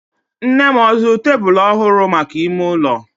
Nnem ọ zụrụ tebulu ọhụrụ maka ime ụlọ?